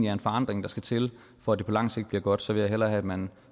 er en forandring der skal til for at det på lang sigt bliver godt så vil jeg hellere have at man